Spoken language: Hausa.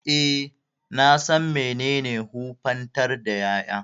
E, na san menene wofantar da ƴaƴa.